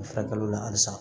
U furakɛli la halisa